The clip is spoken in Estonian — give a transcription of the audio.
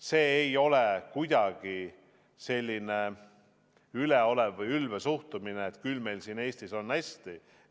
See ei ole kuidagi selline üleolev või ülbe suhtumine, et küll meil siin Eestis on hästi.